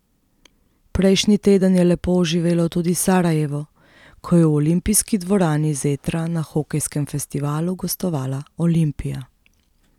Prejšnji teden je lepo oživelo tudi Sarajevo, ko je v olimpijski dvorani Zetra na hokejskem festivalu gostovala Olimpija.